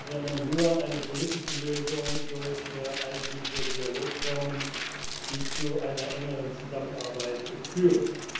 sondern nur eine politische Lösung durch all diese Dialogformen, die zu einer engeren Zusammenarbeit führen.